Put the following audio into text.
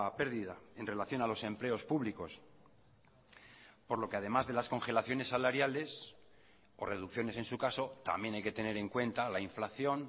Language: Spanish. pérdida en relación a los empleos públicos por lo que además de las congelaciones salariales o reducciones en su caso también hay que tener en cuenta la inflación